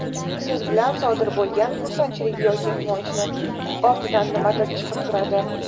Siz bilan sodir bo‘lgan xursandchilik yoki quvonchni ortidan nimadir chiqib turadi.